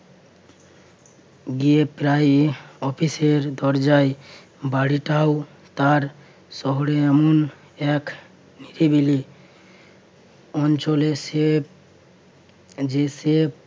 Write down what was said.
গিয়ে প্রায় অফিসের দরজায় বাড়িটাও তার শহরে এমন এক অঞ্চলে সে যে সে